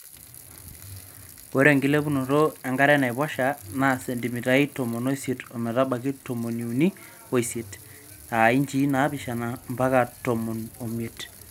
Ore enkilepunoto enkare enaiposha na centimitai tomon oisiet ometabaiki tomoni uni oisiet[inchii naapishana mpaka tomon omiet].